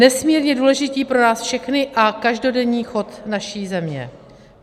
Nesmírně důležití pro nás všechny a každodenní chod naší země.